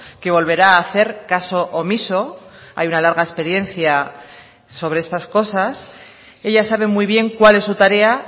que volverá a hacer caso omiso hay una larga experiencia sobre estas cosas ella sabe muy bien cuál es su tarea